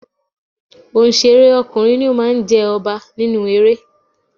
Onsere ọkùnrin ni ó máa ń jẹ ọba nínú eré.